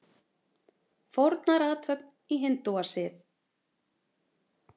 Fórnarathöfn í hindúasið.